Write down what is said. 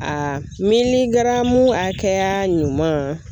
miligaramu hakɛya ɲuman.